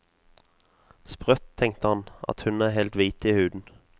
Sprøtt, tenkte han, at hun er helt hvit i huden.